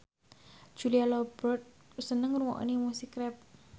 Julia Robert seneng ngrungokne musik rap